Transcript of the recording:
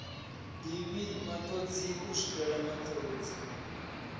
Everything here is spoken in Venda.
divhi matodzi u zwifhela matodzi